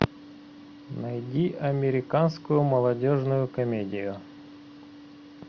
найди американскую молодежную комедию